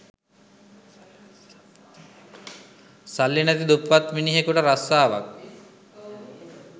සල්ලි නැති දුප්පත් මිනිහෙකුට රස්සාවක්